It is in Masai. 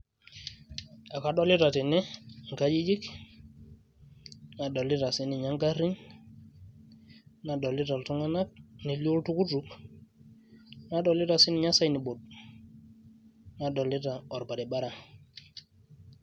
Ekadolita tene inkajijik, nadolita sininche garrin. Nadolita iltung'anak, nelio oltukutuk. Nadolita sininye sign board ,nadolita orbaribara.